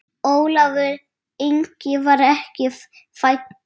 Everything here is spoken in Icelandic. Ólafur Ingi var ekki fæddur.